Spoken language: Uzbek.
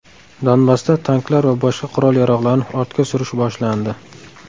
Donbassda tanklar va boshqa qurol-yarog‘larni ortga surish boshlandi.